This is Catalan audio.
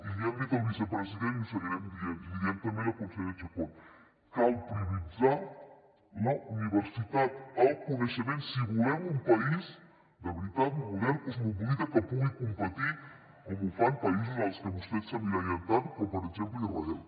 i li hem dit al vicepresident i ho seguirem dient i li diem també a la consellera chacón cal prioritzar la universitat el coneixement si volem un país de veritat modern cosmopolita que pugui competir com ho fan països en els que vostès s’emmirallen tant com per exemple israel